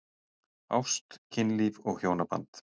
Ást, kynlíf og hjónaband